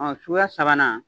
Ɔ suguya sabanan